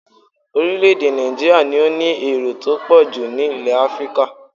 Orílẹ̀-èdè Nàìjííríà ni ó ní èrò tó pọ̀ jù nílẹ̀ Áfíríkà